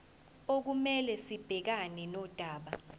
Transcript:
okumele sibhekane nodaba